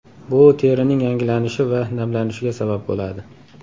Bu terining yangilanishi va namlanishiga sabab bo‘ladi.